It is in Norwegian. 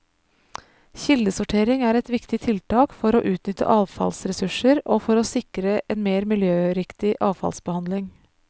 Kildesortering er et viktig tiltak for å utnytte avfallsressurser og for å sikre en mer miljøriktig avfallsbehandling.